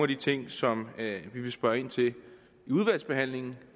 de ting som vi vil spørge ind til i udvalgsbehandlingen